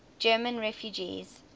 german refugees